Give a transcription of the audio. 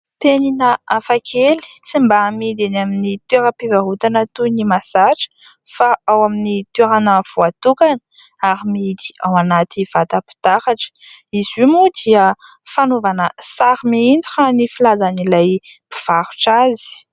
Penina hafa kely tsy mba amidy eny amin'ny toeram-pivarotana toy ny mahazatra fa ao amin'ny toerana voatokana ary mihidy ao anaty vatam-pitaratra. Izy io moa dia fanaovana sary mihintsy raha ny filazan'ny mpivarotra azy.